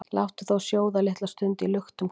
Láttu þá sjóða litla stund í luktum hver,